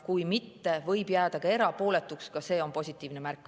Kui mitte, võib jääda erapooletuks, ka see on positiivne märk.